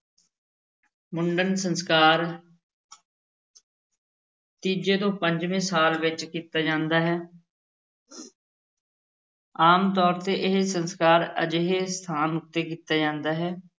ਮੁੰਡਨ ਸੰਸਕਾਰ ਤੀਜੇ ਤੋਂ ਪੰਜਵੇਂ ਸਾਲ ਵਿੱਚ ਕੀਤਾ ਜਾਂਦਾ ਹੈ ਆਮ ਤੌਰ ਤੇ ਇਹ ਸੰਸਕਾਰ ਅਜਿਹੇ ਸਥਾਨ ਉੱਤੇ ਕੀਤਾ ਜਾਂਦਾ ਹੈ